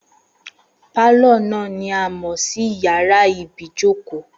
Pálọ̀ náà ni a mọ̀ sí yàrá ibìí jókòó